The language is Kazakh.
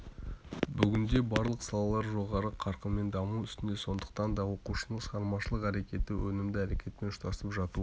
бүгінде барлық салалар жоғары қарқынмен даму үстінде сондықтан да оқушының шығармашылық әрекеті өнімді әрекетпен ұштасып жатуы